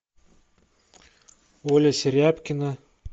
оля серябкина